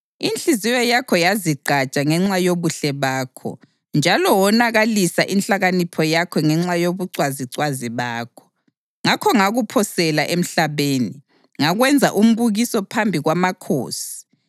Inhliziyo yakho yazigqaja ngenxa yobuhle bakho, njalo wonakalisa inhlakanipho yakho ngenxa yobucwazicwazi bakho. Ngakho ngakuphosela emhlabeni; ngakwenza umbukiso phambi kwamakhosi.